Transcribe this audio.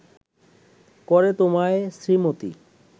করে তোমায় শ্রীমতী